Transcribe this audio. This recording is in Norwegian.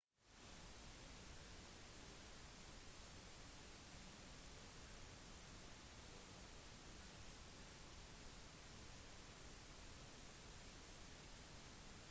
atomer er så bitte små at noen billioner av dem får plass i punktumet på slutten av denne setningen